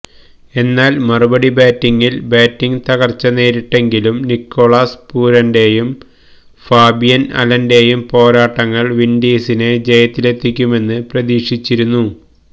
എന്നാല് മറുപടി ബാറ്റിംഗില് ബാറ്റിംഗ് തകര്ച്ച നേരിട്ടെങ്കിലും നിക്കോളാസ് പൂരന്റെയും ഫാബിയന് അലന്റെയും പോരാട്ടങ്ങള് വിന്ഡീസിനെ ജയത്തിലെത്തിക്കുമെന്ന് പ്രതീക്ഷിച്ചിരുന്നു